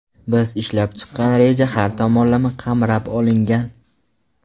Biz ishlab chiqqan reja har tomonlama qamrab olingan.